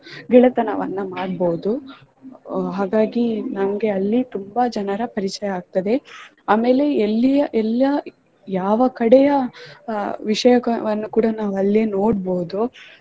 ಗೆಳತನವನ್ನ ಮಾಡ್ಬಹುದು ಹಾಗಾಗಿ ನಮ್ಗೆ ಅಲ್ಲಿ ತುಂಬಾ ಜನರ ಪರಿಚಯ ಆಗ್ತದೆ ಆಮೇಲೆ ಎಲ್ಲಿ ಎಲ್ಲಾ ಯಾವ ಕಡೆಯ ವಿಷಯವನ್ನು ಕೂಡ ನಾವು ಅಲ್ಲಿ ನೋಡ್ಬಹುದು.